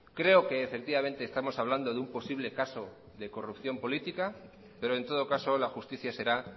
creo que efectivamente estamos hablando de un posible caso de corrupción política pero en todo caso la justicia será